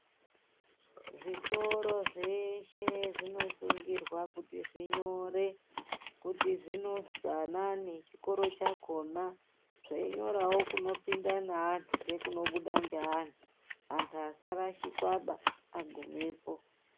Zvikora zveshe zvinosungirwa kuti zvinyore kuti zvinonzwi anani chikoro chakona zveinyorawo kunopinda naantu ngekunobuda ngeantu, antu asarashikwaba agumepo.